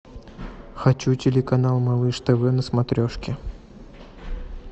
хочу телеканал малыш тв на смотрешке